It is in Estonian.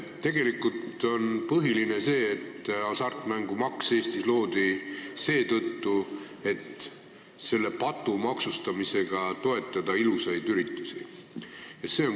Tegelikult on põhiline see, et hasartmängumaks loodi Eestis seetõttu, et selle patu maksustamisega toetada ilusaid üritusi.